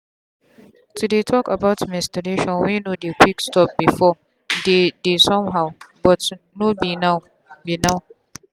to dey talk about menstruation wey no dey quick stop beforedeydey somehow but no be now. be now.